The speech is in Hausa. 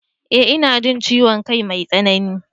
eh ina jin ciwon kai mai tsanani